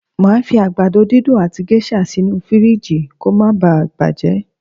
Màá fi àgbàdo dídùn àti géṣà sínú fìríìjì kó ma baà bàjẹ́